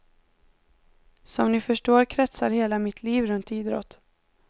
Som ni förstår kretsar hela mitt liv runt idrott.